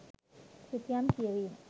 සිතියම් කියවීම